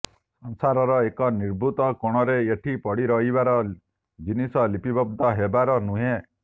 ସଂସାରର ଏକ ନିଭୃତ କୋଣରେ ଏ ପଡ଼ି ରହିବାର ଜିନିଷ ଲିପିବଦ୍ଧ ହେବାର ନୁହେଁ